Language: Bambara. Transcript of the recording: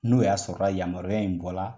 N'u y'a sɔrɔ ya yamaruya in bɔrla